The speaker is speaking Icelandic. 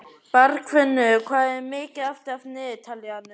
Bergfinnur, hvað er mikið eftir af niðurteljaranum?